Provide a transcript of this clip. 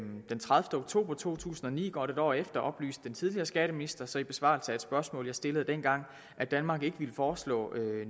den tredivete oktober to tusind og ni godt et år efter oplyste den tidligere skatteminister så i besvarelse af et spørgsmål jeg stillede dengang at danmark ikke ville foreslå